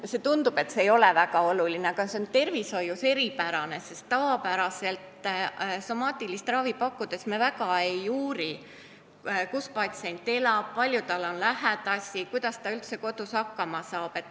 Kuigi tundub, et see ei ole väga tähtis, on see tervishoius eripärane, sest tavapäraselt somaatilist ravi pakkudes me eriti ei uuri, kus patsient elab, kui palju tal on lähedasi või kuidas ta üldse kodus hakkama saab.